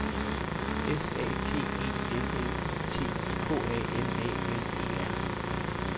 S A T E L L I T K A N A L E R